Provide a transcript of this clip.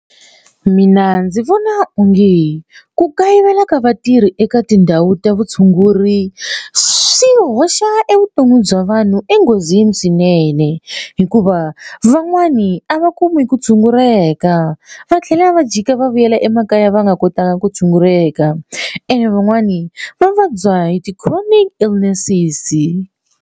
Mina ndzi vona onge ku kayivela ka vatirhi eka tindhawu ta vutshunguri swi hoxa evuton'wini bya vanhu enghozini swinene hikuva van'wani a va kumi ku tshunguleka va tlhela va jika va vuyela emakaya va nga kotaka ku tshunguleka ene van'wani va vabya hi ti-chronic illnesses.